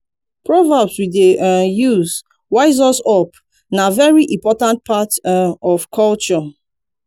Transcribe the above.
proverbs we dey um use wise us up na very important part um of culture